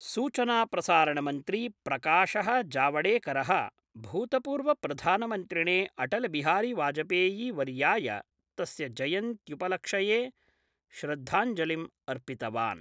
सूचनाप्रसारणमन्त्री प्रकाश: जावडेकर: भूतपूर्वप्रधानमन्त्रिणे अटलबिहारी वाजपेयीवर्य्याय तस्य जयन्तुपलक्ष्ये श्रद्धाञ्जलिं अर्पितवान्।